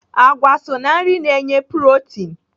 Àgwà so ná nri na-enye protin.